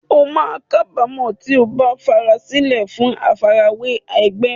O máa kábàámọ̀ tí o bá farasílẹ̀ fún àfarawé ẹgbẹ́.